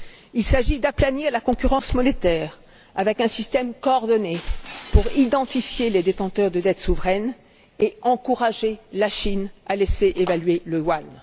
Il s'agit d'aplanir la concurrence monétaire avec un système coordonné pour identifier les détenteurs de dette souveraine et encourager la Chine à laisser évaluer le yuan.